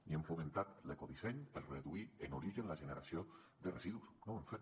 ni hem fomentat l’ecodisseny per reduir en origen la generació de residus no ho hem fet